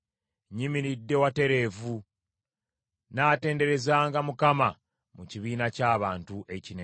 Nnyimiridde watereevu. Nnaatenderezanga Mukama mu kibiina ky’abantu ekinene.